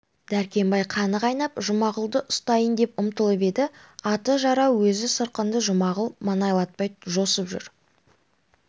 дәркембай қаны қайнап жұмағұлды ұстайын деп ұмтылып еді аты жарау өзі сырқынды жұмағұл маңайлатпай жосып жүр